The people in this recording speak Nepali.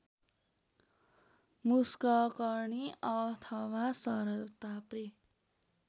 मुषककर्णी अथवा सरताप्रे